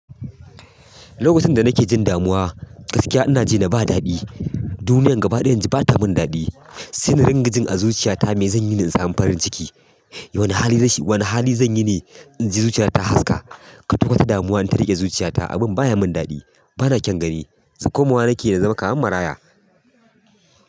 Lokacin da nake jin damuwa gaskiya ina ji da ba daɗi. Duniya gaba ɗaya naji bata min daɗi. Sai na dinga hin a zuciyata me zanyi ne in samu farin ciki? Wane hali zanyi ne, inji zuciyata ta haska. Kwata-kwata damuwa in ta riƙe zuciya ta, abun baya mun daɗi. Ba kyan gani. Sai komawa nake na zama kaman maraya.